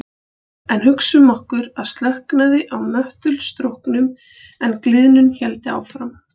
En hugsum okkur að slökknaði á möttulstróknum en gliðnun héldi áfram.